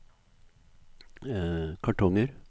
kartonger